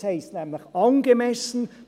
Es heisst nämlich «angemessen».